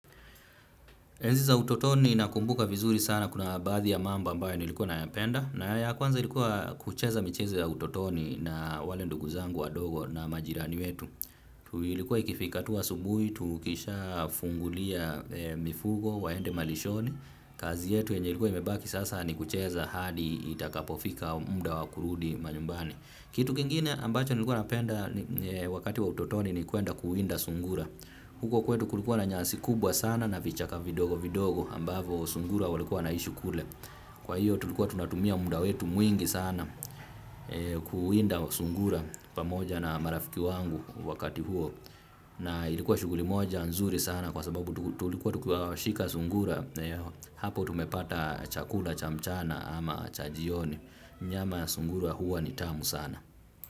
Enzi za utotoni nakumbuka vizuri sana kuna baadhi ya mambo ambayo nilikuwa nayapenda na ya kwanza ilikuwa kucheza michezo ya utotoni na wale ndugu zangu wadogo na majirani wetu. Tu ilikuwa ikifika tu asubuhi, tukishafungulia mifugo waende malishoni, kazi yetu yenye ilikuwa imebaki sasa ni kucheza hadi itakapofika muda wa kurudi manyumbani. Kitu kingine ambacho nilikuwa napenda wakati wa utotoni ni kuenda kuwinda sungura. Huko kwetu kulikuwa na nyansi kubwa sana na vichaka vidogo vidogo ambavyo sungura walikuwa wanaishi kule. Kwa hiyo tulikuwa tunatumia muda wetu mwingi sana kuwinda sungura pamoja na marafiki wangu wakati huo. Na ilikuwa shughuli moja nzuri sana kwa sababu tulikuwa tukiwashika sungura hapo tumepata chakula cha mchana ama cha jioni. Nyama ya sungura huwa ni tamu sana.